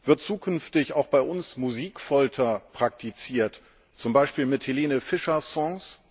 Wird zukünftig auch bei uns Musikfolter praktiziert, zum Beispiel mit Helene Fischer Songs?